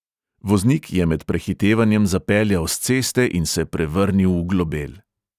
Voznik je med prehitevanjem zapeljal s ceste in se prevrnil v globel.